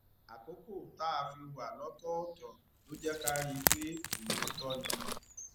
àkókò tá a fi wà lótòòtò ló jé ká rí i pé òótó ni